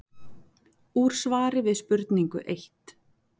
Úr svari við spurningu eitt